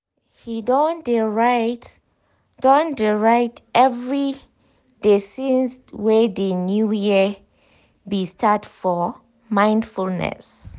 he don de write don de write every de since wey de new year be start for mindfulness.